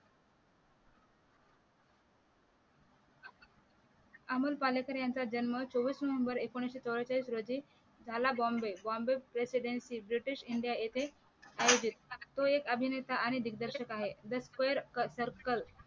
अमोल पालेकर यांचा जन्म चोवीस नोव्हेंबर एकोणविशे चव्वेचाळीस रोजी झाला presidency ब्रिटिश india येथे आयोजित तो एक अभिनेता आणि दिगदर्शक आहे the square circle